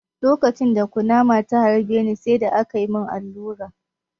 Lokacin da kunama ta harbe ni, sai da aka mun allura.